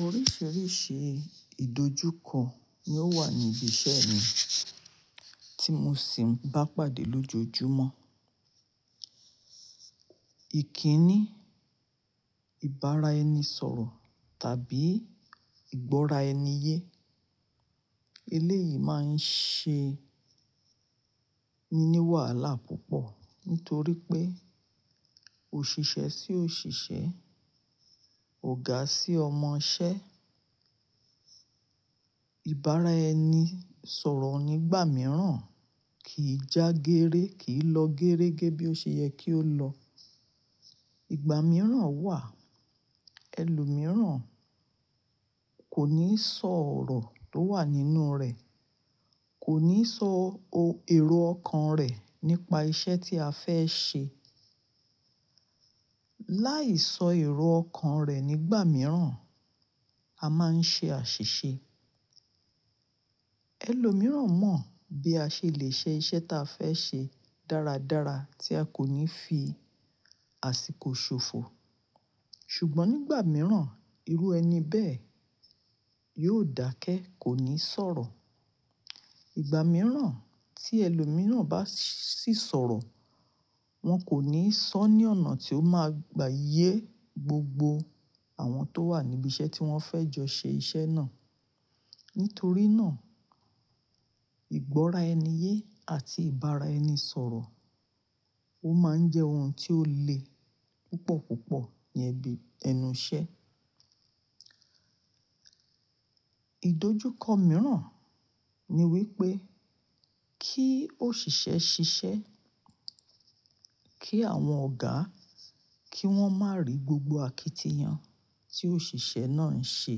Oríṣìíríṣìí ìdójúkọ ni ó wà ní ibi iṣẹ́ mi tí mo sì ń bá pàdé lójoojúmọ́. Ìkíni, ìbára ẹni sọ̀rọ̀ tàbí ìgbọ́ra ẹni yé. Eléyìí máa ń ṣe mi ní wàhálà púpọ̀ nítorí pé òṣìṣẹ́ sí òṣìṣẹ́, ọ̀gá sí ọmọṣẹ́. Ìbára ẹni sọ̀rọ̀ nígbà mìíràn kì í já gééré, kì í lọ géérégẹ́ bí ó ṣe yẹ kí ó lọ. Ìgbà mìíràn wà, ẹlòmíràn kò ní sọ ọ̀rọ̀ tó wà nínú rẹ̀, kò ní sọ èrò ọkàn rẹ̀ nípa iṣẹ́ tí a fẹ́ ṣe. Láì sọ èrò ọkàn rẹ̀ nígbà mìíràn, a máa ń ṣe àṣìṣe. Ẹlòmíràn mọ bí a ṣe lè ṣe iṣẹ́ ta fẹ́ ṣe dáradára tí a kò ní fi àsìkò ṣòfò. Ṣùgbọ́n nígbà mìíràn, irú ẹni bẹ́ẹ̀ yóò dákẹ́, kò ní sọ̀rọ̀. Ìgbà mìíràn tí ẹlòmíràn bá sì sọ̀rọ̀, wọ́n kò ní sọ ní ọ̀nà tí ó máa gba yé gbogbo àwọn tó wà níbi iṣẹ́ tí wọ́n fẹ́ jọ ṣe iṣẹ́ náà. Nítorí náà, ìgbọ́ra ẹni yé àti ìbára ẹni sọ̀rọ̀, ó máa ń jẹ́ ohun tí ó le púpọ̀ púpọ̀ ní ibí- ẹnu iṣẹ́. Ìdójúkọ mìíràn ni wípé kí òṣìṣẹ́ ṣiṣẹ́, kí àwọn ọ̀gá kí wọ́n má rí gbogbo àkítìyan tí òṣìṣẹ́ náà ń ṣe.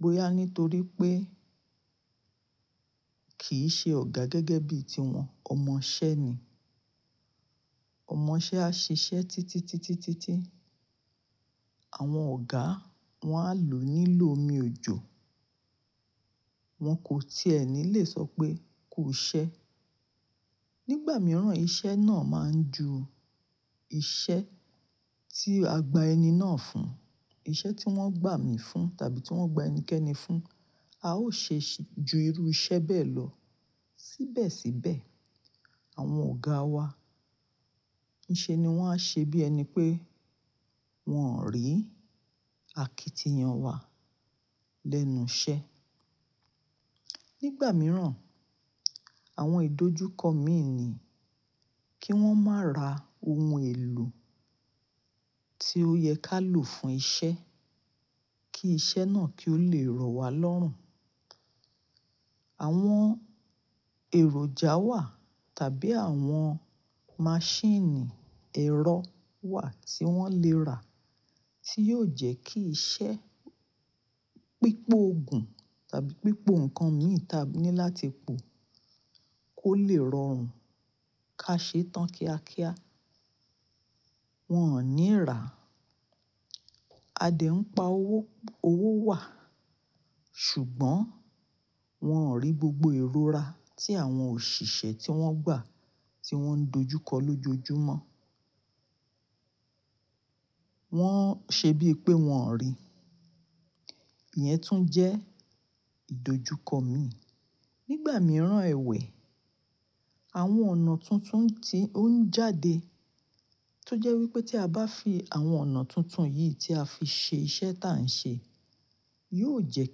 Bóyà nítorí pé kì í ṣe ọ̀gá gẹ́gẹ́ bí i tiwọn, ọmọṣẹ́ ni. Ọmọṣẹ́ á ṣiṣẹ́ títí títí títí. Àwọn ọ̀gá wọn á lò nílò omi òjò, wọn kò tiẹ̀ ní lè sọ pé ku ṣẹ́. Nígbà mìíràn, iṣẹ́ náà máa ń ju iṣẹ́ tí a gba ẹni náà fún, iṣẹ́ tí wọ́n gbà mi fún tàbí tí wọ́n gba ẹnikẹ́ni fún, a ó ṣe ju irú iṣẹ́ bẹ́ẹ̀ lọ. Síbẹ̀síbẹ̀, àwọn ọ̀gá wa, nìṣe ni wọ́n á ṣe bí ẹni pé wọ́n rí àkítìyan wa lẹ́nu iṣẹ́. Nígbà mìíràn, àwọn ìdójúkọ mi ni kí wọ́n má ra ohun èlò tí ó yẹ ká lò fún iṣẹ́, kí iṣẹ́ náà kí ó le rọ wá lọ́rùn. Àwọn èròjà wà tàbí àwọn maṣíìnì ẹ̀rọ wà tí wọ́n le ra tí yóò jẹ́ kí iṣẹ́ pípóògùn tàbí pípóò ǹkan mìí tí a ní láti pò kó le rọrùn ká ṣe tán kíákíá. Wọn ò ní rá. Adé ń pa owó, owó wà ṣùgbọ́n wọn rí gbogbo ìrora tí àwọn òṣìṣẹ́ tí wọ́n gbà tí wọ́n dojúkọ lójoojúmọ́. Wọ́n ṣe bíi pé wọn ò rí. Ìyẹn tún jẹ́ ìdójúkọ mi. Nígbà mìíràn ẹwẹ̀, àwọn ọ̀nà tuntun ti ó ń jáde tó jẹ́ wípé tí a bá fi àwọn ọ̀nà tuntun yìí tí a fi ṣe iṣẹ́ tí à ń ṣe, yóò jẹ́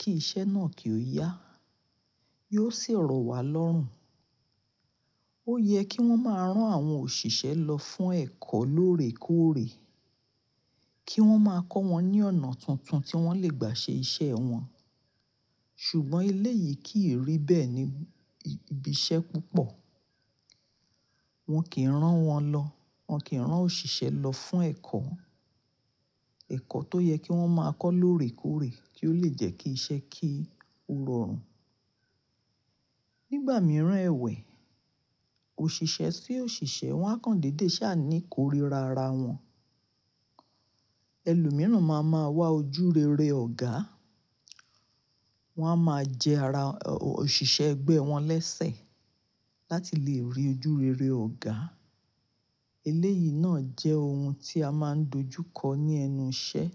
kí iṣẹ́ náà kí ó yá, yóò sì rọ wá lọ́rùn. Ó yẹ kí wọ́n má rán àwọn òṣìṣẹ́ lọ fún ẹ̀kọ́ lóòrèkóòrè kí wọ́n má kọ́ wọn ní ọ̀nà tuntun tí wọ́n lè gbà ṣe iṣẹ́ wọn. Ṣùgbọ́n eléyìí kì í rí bẹ́ẹ̀ ní ibi iṣẹ́ púpọ̀. Wọn kì í rán wọn lọ, wọn kì í rán òṣìṣẹ́ lọ fún ẹ̀kọ́, ẹ̀kọ́ tó yẹ kí wọ́n máa kọ́ lóòrèkóòrè kí ó le jẹ́ kí iṣẹ́ kí ó rọrùn. Nígbà mìíràn ẹwẹ̀, òṣìṣẹ́ sí òṣìṣẹ́ wọ́n á kan dédé ṣá ní koríra ara wọn. Ẹlòmíràn máa ma wá ojú rere ọ̀gá, wọ́n á ma jẹ ara òṣìṣẹ́ ẹgbẹ́ wọn lẹ́sẹ̀ láti lè rí ojú rere ọ̀gá. Eléyìí náà jẹ́ ohun tí a máa ń dojúkọ ní ẹnu iṣẹ́.